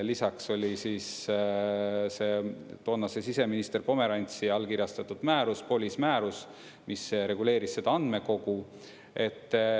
Lisaks oli toonase siseminister Pomerantsi allkirjastatud määrus, POLIS määrus, mis reguleeris seda andmekogu.